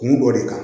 Kun dɔ de kan